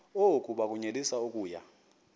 oku bakunyelise okuya